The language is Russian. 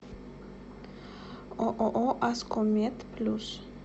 ооо аско мед плюс